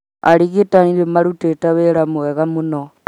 Arigitani nĩ marutĩte wĩra mwega mũno